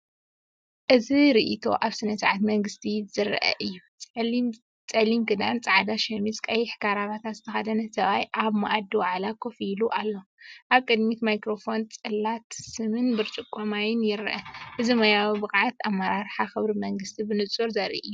እዚ ርእይቶ ኣብ ስነ-ስርዓት መንግስትን ዝረአ እዩ። ጸሊም ክዳን፡ጻዕዳ ሸሚዝ፡ ቀይሕ ክራቫታ ዝተኸድነ ሰብኣይ ኣብ መኣዲ ዋዕላ ኮፍ ኢሉ ኣሎ። ኣብ ቅድሚኡ ማይክሮፎንን ጽላት ስምን ብርጭቆ ማይን ይርአ። እዚ ሞያዊ ብቕዓት፡ኣመራርሓን ክብሪ መንግስቲን ብንጹር ዘርኢ እዩ።